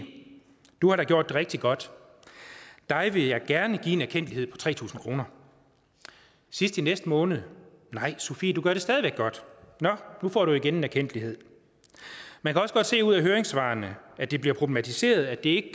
du har da gjort det rigtig godt dig vil jeg gerne give en erkendtlighed på tre tusind kroner sidst i næste måned sofie du gør det stadig væk godt du får igen en erkendtlighed man kan også godt se ud af høringssvarene at det bliver problematiseret at det